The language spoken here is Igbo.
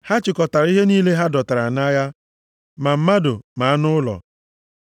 Ha chịkọtara ihe niile ha dọtara nʼagha, ma mmadụ ma anụ ụlọ.